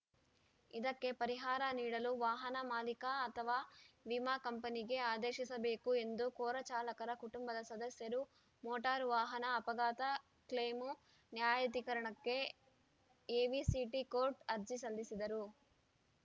ಇದಕ್ಕೆ ಪರಿಹಾರ ನೀಡಲು ವಾಹನ ಮಾಲೀಕ ಅಥವಾ ವಿಮಾ ಕಂಪನಿಗೆ ಆದೇಶಿಸಬೇಕು ಎಂದು ಕೋರಿ ಚಾಲಕರ ಕುಟುಂಬದ ಸದಸ್ಯರು ಮೋಟಾರು ವಾಹನ ಅಪಘಾತ ಕ್ಲೇಮು ನ್ಯಾಯಾಧಿಕರಣಕ್ಕೆ ಎವಿಸಿಟಿ ಕೋರ್ಟ್‌ ಅರ್ಜಿ ಸಲ್ಲಿಸಿದ್ದರು